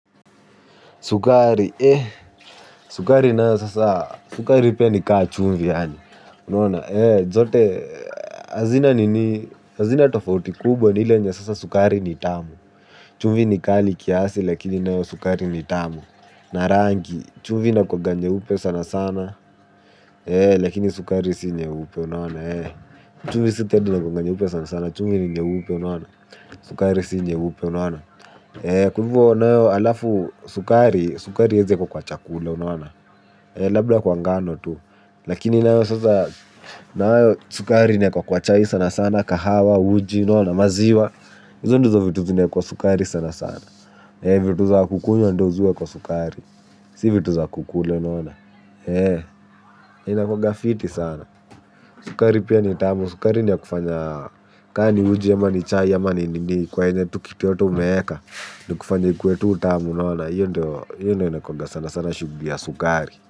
Sukari, eh, sukari nayo sasa, sukari pia ni ka chumvi yaani, unaona? Eh, zote, hazina nini, hazina tofauti kubwa ni ile yenye sasa sukari ni tamu, chumvi ni kali kiasi lakini nayo sukari ni tamu, na rangi, chumvi inakuwanga nyeupe sana sana, eh, lakini sukari si nyeupe, unaona? Eh, chumvi si tedi inakuwanga nyeupe sana sana, chumvi ni nyeupe, unaona? Sukari si nyeupe, unaona? Eh, kwa hivo nayo halafu, sukari, sukari haiwezi wekwa kwa chakula, unaona? Labda kwa ngano tu. Lakini nayo sasa, nayo sukari inawekwa kwa chai sana sana, kahawa, uji, unaona? Maziwa. Hizo ndizo vitu zinawekwa sukari sana sana, eeh vitu za kukunywa ndo zi huwekwa sukari. Si vitu za kukula, unaona? Eeh, na inakuwanga fiti sana. Sukari pia ni tamu. Sukari ni ya kufanya, ka ni uji ama ni chai ama ni nini. Kwenye tu kitu yoyote umeeka, ni kufanya ikuwe tu tamu. Unaona? Hiyo ndo, hiyo ndo inakuwanga sanasana shughuli ya sukari.